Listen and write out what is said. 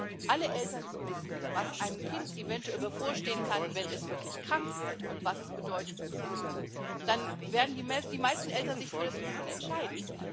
Ich glaube, wenn alle Eltern wissen, was einem Kind eventuell bevorstehen kann, wenn es wirklich krank wird, und was es bedeutet zu impfen, dann werden die meisten Eltern sich für das Impfen entscheiden.